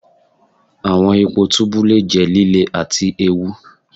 Awọn ipo tubu le jẹ lile ati eewu.